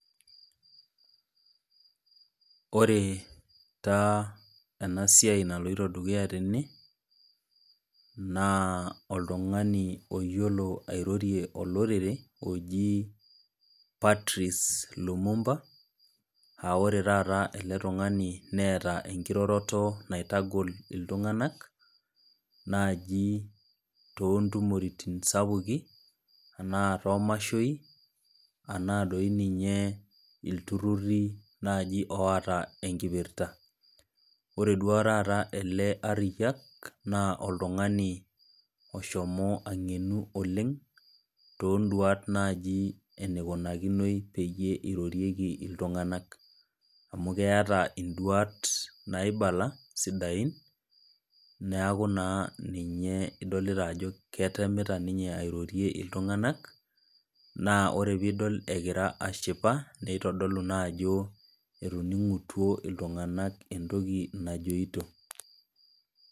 Ore taa ena siai naloito dukuya tena, naa oltung'ani oyiolo airorie olorere oji Patrice Lumumba, aa ore taata naa oltung'ani neata enkiroroto naitagol iltung'anak naaji too intumoritin sapukin, anaa too imashoi, anaa doi ninye iltururi naaji oata enkipirta. Ore duo taata ele ariyyak naa oltung'ani oshomo ang'enu oleng' toonduata naaji eneikunakinoi eirorieki iltung'anak, amu keata induata sidain naibala sidain, neaku naa ninye idolita ajo ketemita ninye airorue iltung'anak naa ore pee idol egira ashipa neitodolu naa ajo etoning'utuo iltung'anak entoki najoito.